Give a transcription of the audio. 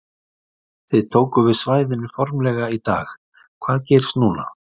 Þið tókuð við svæðinu formlega í dag, hvað gerist núna?